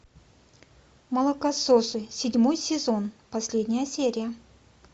молокососы седьмой сезон последняя серия